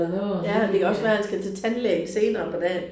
Ja det kan også være han skal til tandlægen senere på dagen